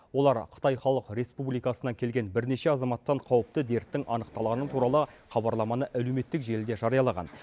олар қытай халық республикасынан келген бірнеше азаматтан қауіпті дерттің анықталғаны туралы хабарламаны әлеуметтік желіде жариялаған